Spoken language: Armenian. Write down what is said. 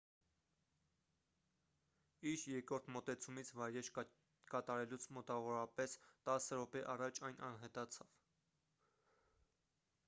իր երկրորդ մոտեցումից վայրէջք կատարելուց մոտավորապես տասը րոպե առաջ այն անհետացավ